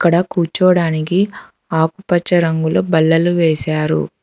ఇక్కడ కూర్చోడానికి ఆకుపచ్చ రంగులో బల్లలు వేశారు.